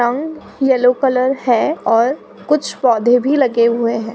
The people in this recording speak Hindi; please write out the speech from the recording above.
रंग येलो कलर है और कुछ पौधे भी लगे हुए हैं।